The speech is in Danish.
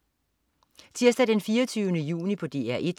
Tirsdag den 24. juni - DR 1: